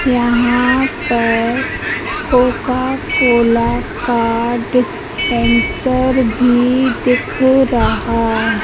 यहां पर Coca Cola का डिस्पेंसर भी दिख रहा।